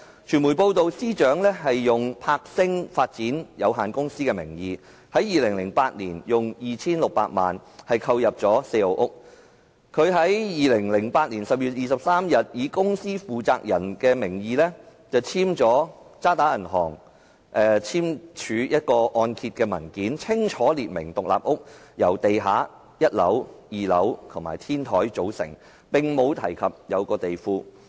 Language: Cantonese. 傳媒報道，司長以柏星發展有限公司的名義，在2008年用 2,600 萬元購入四號屋，她在2008年10月23日以公司負責人的名義簽署渣打銀行的按揭文件，清楚列明獨立屋由地下、1樓、2樓及天台組成，並未提及地庫。